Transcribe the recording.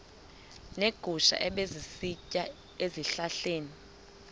neegusha ebezisitya ezihlahleni